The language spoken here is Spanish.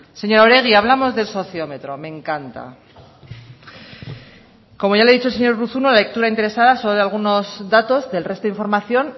señora oregi hablamos del sociómetro me encanta como ya le ha dicho el señor urruzuno la lectura interesada solo de algunos datos del resto de información